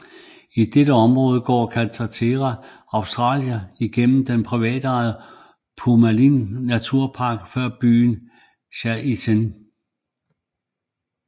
I dette område går Carretera Austral igennem den privatejede Pumalin naturpark før byen Chaiten